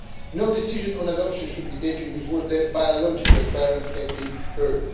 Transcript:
No decision on adoption should be taken before the biological parents have been heard.